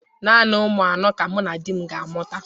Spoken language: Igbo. Naanị ụmụ anọ ka mụ na di m ga-amụta.